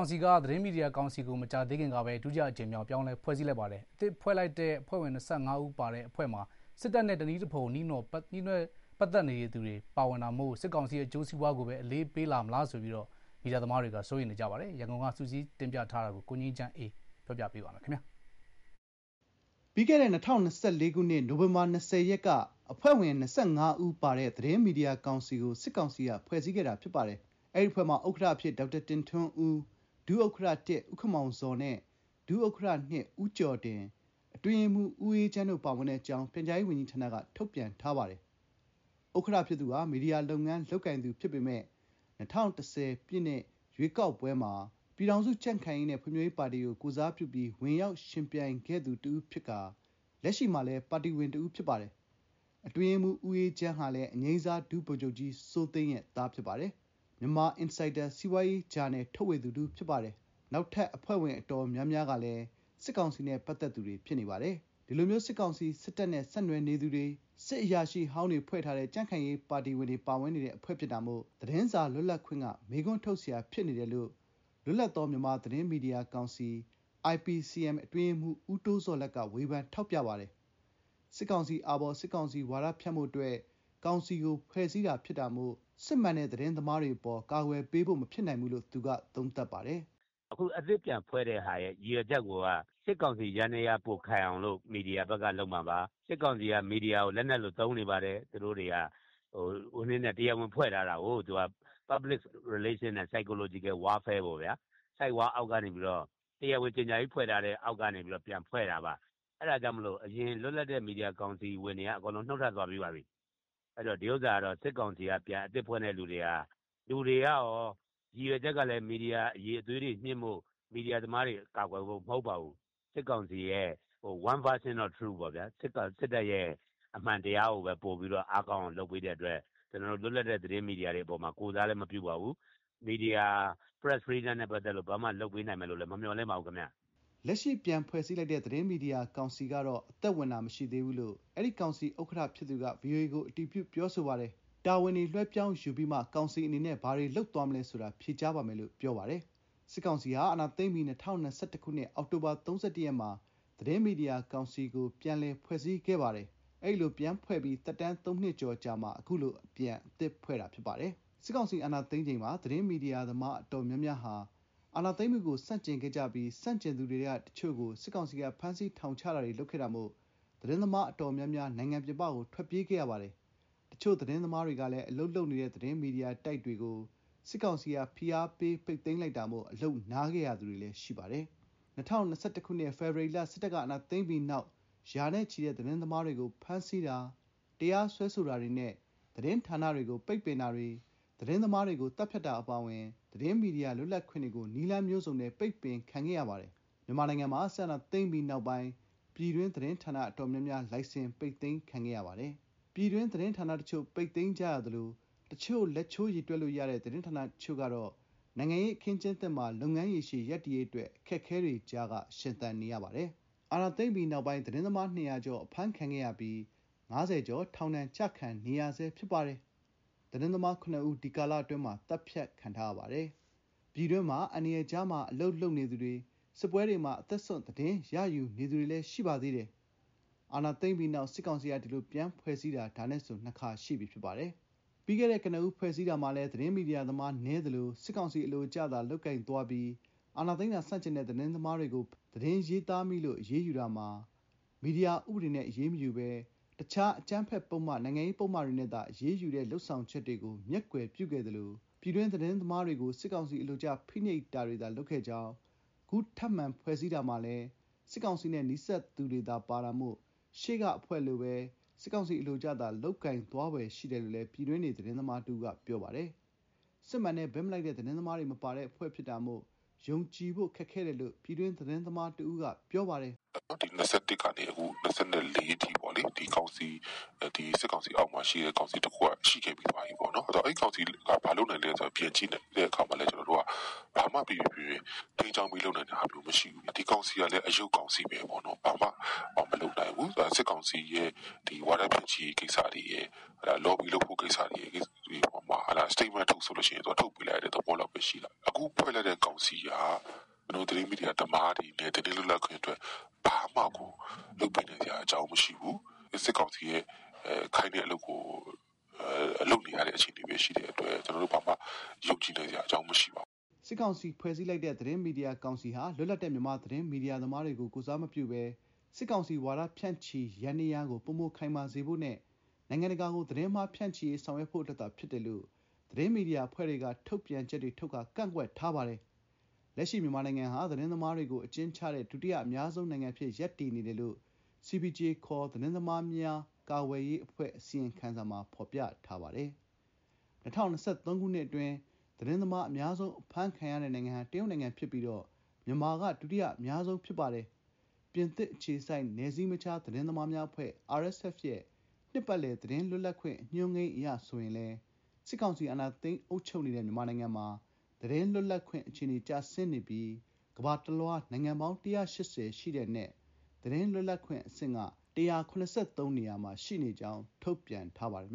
င်က သတင်းမီဒီယာကောင်စီကို ဒုတိယအကြိမ်မြောက် ပြောင်းလဲဖွဲ့စည်းလိုက်ပါတယ်။ အသစ်ဖွဲ့လိုက်တဲ့ အဖွဲ့ဝင် ၂၅ ဦးမှာ စစ်တပ်နဲ့ ဆက်နွယ်သူတွေ၊ စစ်အရာရှိဟောင်းတွေဖွဲ့ထားတဲ့ ကြံ့ခိုင်ရေး ပါတီဝင်တွေပါဝင်တာမို့ စစ်ကောင်စီ အကျိုးစီးပွားကို အလေးပေးလာမလားဆိုပြီး ပြည်တွင်း ပြည်ပ မီဒီယာ သမားတွေက စိုးရိမ်ကြပါတယ်။ ရန်ကုန်က စုစည်းတင်ပြထားတာကို ပြောပြပေးပါမယ်။ ပြီးခဲ့တဲ့ ၂၀၂၄ ခုနှစ်၊ နိုဝင်ဘာ ၂၀ ရက်က အဖွဲ့ဝင် ၂၅ ဦးပါတဲ့ သတင်းမီဒီယာကောင်စီကို စစ်ကောင်စီက ဖွဲ့စည်းခဲ့တာဖြစ်ပါတယ်။ အဲဒီအဖွဲ့မှာ ဥက္ကဋ္ဌ အဖြစ် ဒေါက်တာတင်ထွန်းဦး၊ ဒုဥက္ကဋ္ဌ ဦးခင်မောင်ဇော်နဲ့ ဒုဥက္ကဋ္ဌ ဦးကျော်ဒင်၊ အတွင်းရေးမှူး ဦးအေးချမ်း တို့ပါဝင်တဲ့အကြောင်း ပြန်ကြားရေးဝန်ကြီးဌာနက ထုတ်ပြန်ထားပါတယ်။ ဥက္ကဋ္ဌ ဖြစ်သူဟာမီဒီယာလုပ်ငန်း လုပ်ကိုင်သူဖြစ်ပေမဲ့ ၂၀၁၀ ပြည့်နှစ် ရွေးကောက်ပွဲမှာ ပြည်ထောင်စု ကြံ့ခိုင်ရေးနဲ့ ဖွံ့ဖြိုးရေးပါတီကို ကိုယ်စားပြုပြီး ဝင်ရောက် ယှဉ်ပြိုင်ခဲ့သူ တဦးဖြစ်ကာ လက်ရှိမှာလည်း ပါတီဝင်တဦးဖြစ်ပါတယ်။ အတွင်းရေးမှူး ဦးအေးချမ်းဟာလည်း အငြိမ်းစား ဒုဗိုလ်ချုပ်ကြီး စိုးသိန်းရဲ့သား ဖြစ်ပါတယ်။ Myanmar Insider စီးပွားရေးဂျာနယ်ထုတ်ဝေသူတဦးဖြစ်ပါတယ်။ နောက်ထပ် အဖွဲ့ဝင်တွေ တော်တော်များများကလည်း စစ်ကောင်စီ နဲ့ပတ်သတ်သူတွေ ဖြစ်နေပါတယ်။ ဒီလိုမျိုး စစ်ကောင်စီ စစ်တပ်နဲ့ ဆက်နွှယ်နေသူတွေ၊ စစ်အရာရှိ ဟောင်းတွေ ဖွဲ့ထားတဲ့ ကြံ့ခိုင်ရေး ပါတီဝင်တွေ ပါဝင်နေတဲ့ အဖွဲ့ဖြစ်တာမို့ သတင်းစာလွတ်လပ်ခွင့်က မေးခွန်းထုတ်စရာ ဖြစ်နေတယ်လို့ လွတ်လပ်သော မြန်မာသတင်းမီဒီယာကောင်စီ အတွင်းရေးမှူး ဦးတိုးဇော်လတ်က ဝေဖန်ထောက်ပြပါတယ်။ “အခုအသစ်ပြန်ဖွဲ့တဲ့ရည်ရွယ်ချက်ကိုက စစ်ကောင်စီယန္တရား ပိုခိုင်အောင် မီဒီယာဘက်က လုပ်မှာပါ။ စစ်ကောင်စီက မီဒီယာကို လက်နက်လို သုံးနေတယ်။ တရားဝင်ဖွဲ့ထားတာကို Public Relation နဲ့ Psychological Warfare သဘောပေါ့ဗျာ။ ဆိုက်ဝါးအောက်ကနေ တရားဝင် ကြေညာပြီးပြန်ဖွဲ့တာပါ။ အဲဒါကြောင့် အရင် လွတ်လပ်တဲ့ မီဒီယာကောင်စီကလူတွေ နုတ်ထွက်သွားပြီးပါပြီ။ အခု အသစ်ဖွဲ့တာမှာလည်း လူတွေကကော မီဒီယာအရည်အသွေးမြှင့်ဖို့၊ မီဒီယာသမားတွေ ကာကွယ်ဖို့ မဟုတ်ပါဘူး။ စစ်ကောင်စီအတွက် One version of the truth ပေါ့ စစ်တပ် အမှန်တရားကိုသာ အားကောင်းအောင် လုပ်ပေးတဲ့အတွက် လွတ်လပ်တဲ့ သတင်းမီဒီယာတွေအပေါ် ကိုယ်စားလဲမပြုပါဘူး။ မီဒီယာ လွတ်လပ်ခွင့်အတွက် လုပ်ပေးနိုင်မယ်လို့လဲ မမျှော်လင့်ပါဘူးခင်ဗျ။” လက်ရှိ ပြန်ဖွဲ့စည်းလိုက်တဲ့ သတင်းမီဒီယာကောင်စီကတော့ အသက်ဝင်တာ မရှိသေးဘူးလို့ အဲဒီ ကောင်စီ ဥက္ကဋ္ဌဖြစ်သူက ဗွီအိုအေကို အတည်ပြုပြောဆိုပါတယ်။ တာဝန်တွေ လွှဲပြောင်းယူပြီးမှ ကောင်စီအနေနဲ့ ဘာတွေလုပ်သွားမလဲဆိုတာ ဖြေကြားပါမယ်လို့ ပြောဆိုထာပါတယ်။ စစ်ကောင်စီဟာ အာဏာသိမ်းပြီး ၂၀၂၁ ခုနှစ် အောက်တိုဘာ ၃၁ ရက်မှာ သတင်းမီဒီယာကောင်စီကို ပြန်လည်ဖွဲ့စည်းခဲ့ပါတယ်။ အဲဒီလို ပြန်ဖွဲ့ပြီး သက်တမ်း ၃ နှစ်ကျော်အကြာမှာ အခုလိုပြန်အသစ်ဖွဲ့တာဖြစ်ပါတယ်။ စစ်ကောင်စီ အာဏာသိမ်းချိန်မှာ သတင်း မီဒီယာသမား တော်တော်များများဟာ စစ်အာဏာသိမ်းမှုကို ဆန့်ကျင်ခဲ့ကြပြီး ဆန့်ကျင်သူတွေထဲက တချို့ကို စစ်ကောင်စီက ဖမ်းဆီးထောင်ချတာတွေ လုပ်ခဲ့တာမို့ သတင်းသမား တော်တော်များများ နိုင်ငံပြင်ပကို ထွက်ပြေးခဲ့ရပါတယ်။ တချို့ သတင်းသမားတွေလည်း အလုပ်လုပ်နေတဲ့ သတင်းမီဒီယာတိုက်တွေကို စစ်ကောင်စီက ဖိအားပေး ပိတ်သိမ်းလိုက်တာမို့ အလုပ်နားခဲ့ရသူတွေလည်း ရှိပါတယ်။ ၂၀၂၁ ခုနှစ် ဖေဖော်ဝါရီလ စစ်တပ်ကအာဏာသိမ်းပြီးနောက် ရာနဲ့ချီတဲ့ သတင်းသမားတွေကို ဖမ်းဆီးတာ၊ တရားစွဲဆိုတာတွေနဲ့ သတင်းဌာနတွေကို ပိတ်ပင်တာတွေ၊ သတင်းသမားတွေကို သတ်ဖြတ်တာအပါအဝင် သတင်းမီဒီယာ လွတ်လပ်ခွင့်တွေကို နည်းလမ်းမျိုးစုံနဲ့ ပိတ်ပင်ခံခဲ့ရပါတယ်။ မြန်မာနိုင်ငံမှာ စစ်အာဏာသိမ်းပြီး နောက်ပိုင်း ပြည်တွင်းသတင်းဌာန အတော်များများ လိုင်စင် ပိတ်သိမ်းခံခဲ့ရပါတယ်။ ပြည်တွင်း သတင်းဌာနတချို့ ပိတ်သိမ်းကြသလို တချို့သော လက်ချိုးရေတွက်လို့ရတဲ့ သတင်းဌာနအချို့ ကတော့ နိုင်ငံရေး အခင်းအကျင်းသစ်မှာ လုပ်ငန်းရေရှည် ရပ်တည်ရေးအတွက် အခက်အခဲတွေကြားက ရှင်သန်နေရပါတယ်။ အာဏာသိမ်းပြီးနောက် သတင်းသမား ၂၀၀ ကျော် အဖမ်းခံခဲ့ရပြီး ၅၀ ကျော် ထောင်ဒဏ်ကျခံနေရဆဲဖြစ်ပါတယ်။ သတင်းသမား ၇ ဦး ဒီကာလအတွင်း သတ်ဖြတ်ခံထားရပါတယ်။ ပြည်တွင်းမှာ အန္တရာယ်ကြားမှာ အလုပ်လုပ်နေသူတွေ၊ စစ်ပွဲတွေမှာ အသက်စွန့် သတင်းရယူနေသူတွေ ရှိနေပါသေးတယ်။ အာဏာသိမ်းပြီးနောက် စစ်ကောင်စီက ဒီလိုပြန်ဖွဲ့စည်းတာ ဒါနဲ့ဆို ၂ခါရှိပြီ ဖြစ်ပါတယ်။ ပြီးခဲ့တဲ့ ကနဦး ဖွဲ့စည်းတာမှာလည်း သတင်းမီဒီယာသမား နည်းသလို စစ်ကောင်စီ အလိုကျသာ လုပ်ကိုင်သွားပြီး အာဏာသိမ်းတာ ဆန့်ကျင်တဲ့ သတင်းသမားတွေကို ဖမ်းဆီးအရေးယူတာ မှာ သတင်းရေးသားမိလို့ အရေးယူတာမှာ မီဒီယာဥပဒေနဲ့ အရေးမယူဘဲ တခြား အကြမ်းဖက်ပုဒ်မ၊ နိုင်ငံရေးပုဒ်မတွေနဲ့သာ အရေးယူတဲ့ လုပ်ဆောင်ချက်တွေကို မျက်ကွယ်ပြုခဲ့သလို ပြည်တွင်း သတင်းသမားတွေကို စစ်ကောင်စီ အလိုကျ ဖိနှိပ်တာတွေသာ လုပ်ခဲ့ကြောင်း၊ အခုထပ်မံဖွဲ့စည်းတာမှာလည်း စစ်ကောင်စီနဲ့ နီးစပ်သူတွေသာ ပါတာမို့ ရှေ့ကအဖွဲနည်းတူ စစ်ကောင်စီ အလိုကျသာ လုပ်ကိုင်သွားဖွယ် ရှိတယ်လို့ ပြည်တွင်းနေ သတင်းသမားတဦးက ပြောပါတယ်။ စစ်မှန်တဲ့ ဘက်မလိုက်တဲ့ သတင်းသမားတွေ မပါတဲ့အဖွဲ့ ဖြစ်တာကြောင့် ယုံကြည်ဖို့ ခက်ခဲတယ်လို့ ပြည်တွင်း သတင်းသမား တဦးက ပြောပါတယ်။ “ ၂၀၂၁ ကနေ ၂၀၂၄အထိ စစ်ကောင်စီ လက်အောက်မှာ ကောင်စီတခုက ရှိခဲ့ပြီးသွားပြီ။ အဲဒီကောင်စီတုန်းကလည်း ဘာလုပ်နိုင်လဲ ပြန်ကြည့်ရင် ဘာမှ ပီပီပြင်ပြင် ထိန်းကျောင်းလုပ်နိုင်တာ မရှိခဲ့ဘူး။ အခု ဒီကောင်စီကလည်း အရုပ်ကောင်စီဘဲ။ စစ်ကောင်စီ ဝါဒဖြန့်ချိရေးရယ်၊ လော်ဘီ လုပ်ဖို့တွေရယ်၊ စတိတ်မန့်ထုတ်ဆို ထုတ်ပေးလိုက်ရတဲ့ အဆင့်ဘဲရှိတာ။ ခုဖွဲ့လိုက်တာလည်း ကျနော်တို့ သတင်းမီဒီယာနဲ့ သတင်းမီဒီယာ သမားတွေကို ဘာမှလုပ်ပေးနိုင်စရာမရှိဘူး။ စစ်ကောင်စီ ခိုင်းတာကို လုပ်ပေးနေရတဲ့ အဆင့်ဘဲ ရှိတဲ့အတွက် ဘာမှယုံနိုင်စရာမရှိပါဘူး။ ” စစ်ကောင်စီက ဖွဲ့စည်းထားလိုက်တဲ့ သတင်းမီဒီယာကောင်စီဟာ လွတ်လပ်တဲ့ မြန်မာသတင်းမီဒီယာ သမားတွေကို ကိုယ်စားမပြုဘဲ စစ်ကောင်စီ ဝါဒဖြန့်ချိရေး ယန္တရားကို ပိုမိုခိုင်မာစေဖို့နဲ့ နိုင်ငံတကာကို သတင်းအမှား ဖြန့်ချိရေး ဆောင်ရွက်ဖို့အတွက်သာ ဖြစ်တယ်လို့ သတင်းမီဒီယာအဖွဲ့တွေက ထုတ်ပြန်ချက်တွေထုတ်ကာကန့်ကွက်ထားပါတယ်။ လက်ရှိ မြန်မာနိုင်ငံဟာ သတင်းသမားတွေကို အကျဉ်းချတဲ့ ဒုတိယ အများဆုံးနိုင်ငံအဖြစ် ရပ်တည်နေတယ်လို့ CPJ ခေါ် သတင်းသမားများ ကာကွယ်ရေး အဖွဲ့ အစီရင်ခံစာမှာ ဖော်ပြပါတယ်။ ၂၀၂၃ ခုနှစ်အတွင်း သတင်းသမား အများဆုံး အဖမ်းခံရတဲ့ နိုင်ငံဟာ တရုတ်ဖြစ်ပြီး မြန်မာက ဒုတိယအများဆုံး ဖြစ်ပါတယ်။ ပြင်သစ်အခြေစိုက် နယ်စည်းမခြား သတင်းသမားများအဖွဲ့ ရဲ့ နှစ်ပတ်လည် သတင်းလွတ်လပ်ခွင့် အညွှန်းကိန်းအရ ဆိုရင်လည်း စစ်ကောင်စီ အာဏာသိမ်း အုပ်ချုပ်နေတဲ့ မြန်မာနိုင်ငံမှာ သတင်းလွတ်လပ်ခွင့် အခြေအနေတွေ ကျဆင်းနေပြီး ကမ္ဘာတလွှား နိုင်ငံပေါင်း ၁၈၀ အနက် သတင်း လွတ်လပ်ခွင့် အဆင့် ၁၇၃ နေရာမှာ ရှိနေကြောင်း ထုတ်ပြန်ထားပါတယ်